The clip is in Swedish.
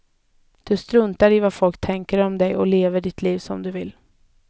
Du struntar i vad folk tänker om dig och lever ditt liv som du vill.